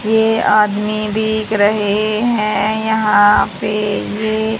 ये आदमी भीग रहे हैं यहां पर ये --